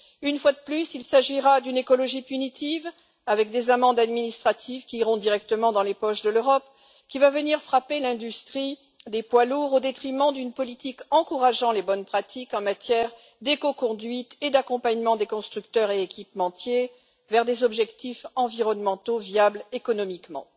Une fois de plus, il s'agira d'une écologie punitive, avec des amendes administratives qui iront directement dans les poches de l'Europe, qui va venir frapper l'industrie des poids lourds au détriment d'une politique encourageant les bonnes pratiques en matière d'écoconduite et d'accompagnement des constructeurs et équipementiers vers des objectifs environnementaux viables économiquement.